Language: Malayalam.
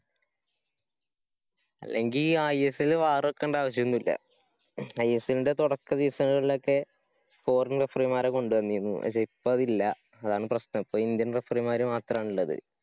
അല്ലെങ്കി ISLwar വക്കണ്ട ആവശ്യൊന്നുല്ലാ. ISL ന്‍ടെ തൊടക്ക ദീസങ്ങളിലോക്കെ foreign referee മാരെ കൊണ്ടന്നിരുന്നു. പക്ഷെ ഇപ്പോ അതില്ല. അതാണ് പ്രശ്നം. ഇപ്പോ indian referee മാര് മാത്രാണുള്ളത്.